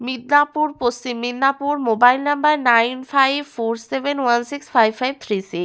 মিদনাপুর পশ্চিম Midnapore mobile number nine five four seven one six five three C --